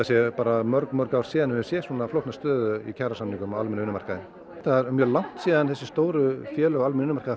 séu bara mörg mörg ár síðan höfum séð svona flókna stöðu í kjarasamningum á almennum vinnumarkaði það er mjög langt síðan þessi stóru félög á almennum